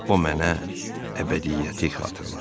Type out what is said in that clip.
O mənə əbədiyyəti xatırladır.